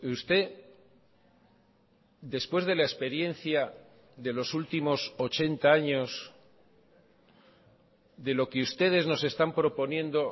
usted después de la experiencia de los últimos ochenta años de lo que ustedes nos están proponiendo